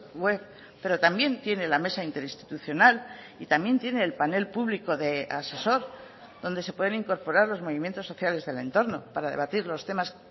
web pero también tiene la mesa interinstitucional y también tiene el panel público de asesor donde se pueden incorporar los movimientos sociales del entorno para debatir los temas